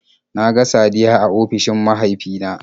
Na ga Saddiya a ofishin mahaifina